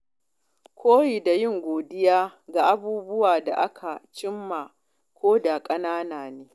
Koyi da yin godiya ga abubuwan da aka cimma, ko da ƙanana ne.